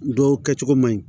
Dɔw kɛcogo man ɲi